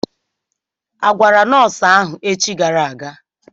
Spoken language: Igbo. Agwara nọọsụ ahụ echi gara aga?